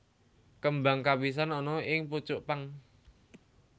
Kembang kapisan ana ing pucuk pang